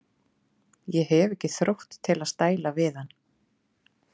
Ég hef ekki þrótt til að stæla við hann.